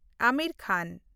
ᱟᱢᱤᱨ ᱠᱷᱟᱱ